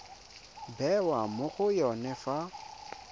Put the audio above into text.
bewa mo go yone fa